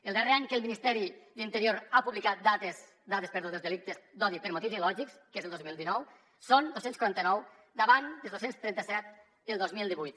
el darrer any que el ministeri d’interior ha publicat dades dels delictes d’odi per motius ideològics que és el dos mil dinou són dos cents i quaranta nou davant els dos cents i trenta set del dos mil divuit